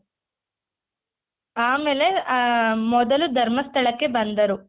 ಆಮೇಲೆ ಆ ಮೊದಲು ಧರ್ಮಸ್ಥಳಕ್ಕೆ ಬಂದರು.